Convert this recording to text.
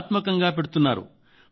కళాత్మకంగా పెడుతున్నారు